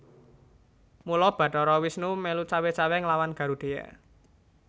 Mula Bathara Wisnu mèlu cawé cawé nglawan Garudheya